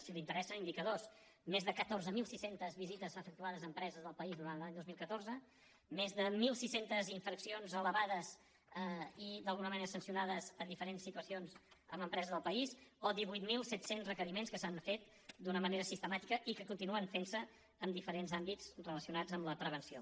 si li interessen indicadors més de catorze mil sis cents visites efectuades a empreses del país durant l’any dos mil catorze més de mil sis cents infraccions elevades i d’alguna manera sancionades a diferents situacions en empreses del país o divuit mil set cents requeriments que s’han fet d’una manera sistemàtica i que continuen fentse en diferents àmbits relacionats amb la prevenció